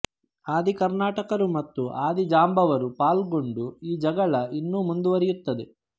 ಆದಿಕರ್ನಟಕರು ಮತ್ತು ಆದಿಜಾಂಬವರು ಪಾಲುಗೊಂಡು ಈ ಜಗಳ ಇನ್ನೂ ಮುಂದುವರಿಯುತ್ತಿದೆ